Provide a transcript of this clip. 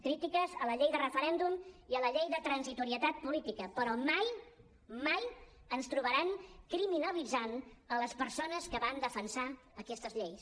crítiques a la llei de referèndum i a la llei de transitorietat política però mai mai ens trobaran criminalitzant les persones que van defensar aquestes lleis